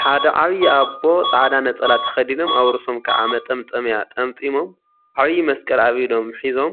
ሓደ ዓብይ አቦ ፃዕዳ ነፀላ ተከዲኖም አብ ርእሶም ከዓ መጠምጠሚያ ጠምጢሞም ዓብይ መስቀል አብ ኢዶም ሒዞም